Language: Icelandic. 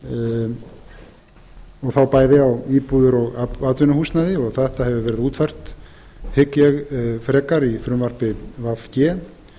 og þá bæði á íbúðir og atvinnuhúsnæði og þetta hefur verið útfært hygg ég frekar í frumvarpi v g